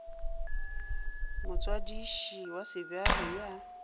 motswadiši wa sebjalo e a